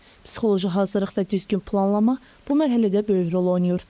Psixoloji hazırlıq və düzgün planlama bu mərhələdə böyük rol oynayır.